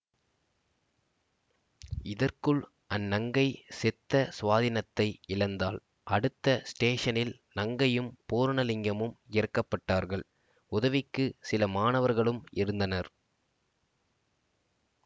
இதற்குள் அந்நங்கை சித்த ஸ்வாதீனத்தை இழந்தாள் அடுத்த ஸ்டேஷனில் நங்கையும் பூர்ணலிங்கமும் இறக்கப்பட்டார்கள் உதவிக்கு சில மாணவர்களும் இருந்தனர்